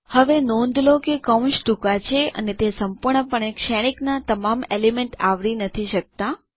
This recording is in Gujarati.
હવે નોંધ લો કે કૌંસ ટૂંકા છે અને તે સંપૂર્ણપણે શ્રેણીકના તમામ એલિમેન્ટ આવરી નથી શકતા